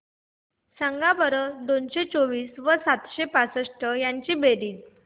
सांगा बरं दोनशे चोवीस व सातशे बासष्ट ची बेरीज